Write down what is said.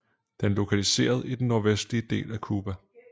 Den er lokaliseret i den nordvestlige del af Cuba